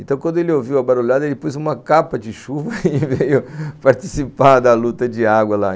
Então, quando ele ouviu a barulhada, ele pôs uma capa de chuva e veio participar da luta de água lá.